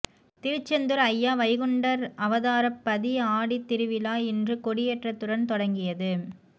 திருச்செந்தூர் அய்யா வைகுண்டர் அவதார பதி ஆடி திருவிழா இன்று கொடியேற்றத்துடன் தொடங்கியது